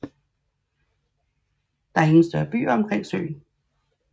Der er ingen større byer omkring søen